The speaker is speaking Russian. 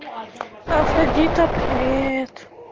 афродита привет